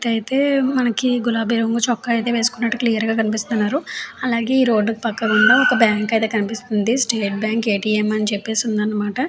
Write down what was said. వ్యక్తి అయితే మనకు గులాబీ రంగు చొక్కా వేసుకున్నట్టు క్లియర్ గా కనిపిస్తున్నారు. అలగే ఈ రోడ్డు కి పక్క గుండా ఒక బ్యాంక్ అయితే కనిపిస్తుంది స్టేట్ బ్యాంక్ ఎ.టి.ఎం. అని చెప్పేసి ఉందన్నమాట.